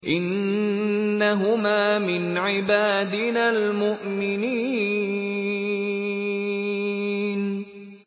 إِنَّهُمَا مِنْ عِبَادِنَا الْمُؤْمِنِينَ